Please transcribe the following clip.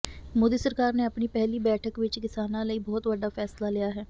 ਮੋਦੀ ਸਰਕਾਰ ਨੇ ਆਪਣੀ ਪਹਿਲੀ ਬੈਠਕ ਵਿੱਚ ਕਿਸਾਨਾਂ ਲਈ ਬਹੁਤ ਵੱਡਾ ਫੈਸਲਾ ਲਿਆ ਹੈ